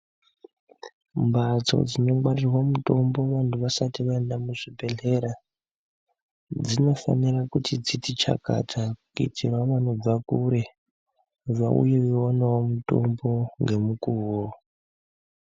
Mhatso dzinongwarirwa mutombo vantu vasati vaenda kuzvibhedhlera dzinofanirwa kuti dziti chakata kuitirawo vanobva kure vauyewo vaonawo mitombo ngemukuwo.